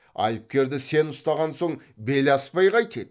айыпкерді сен ұстаған соң бел аспай қайтеді